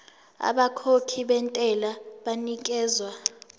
abakhokhi bentela banikezwa